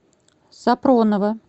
сапронова